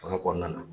Fanga kɔnɔna na